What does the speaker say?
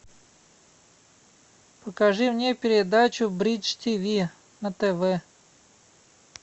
покажи мне передачу бридж тиви на тв